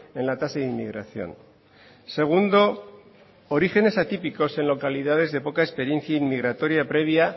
en la tasa de inmigración segundo orígenes atípicos en localidades de poca experiencia inmigratoria previa